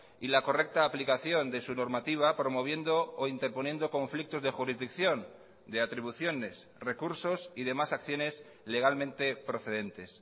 y la correcta aplicación de su normativa promoviendo o interponiendo conflictos de jurisdicción de atribuciones recursos y demás acciones legalmente procedentes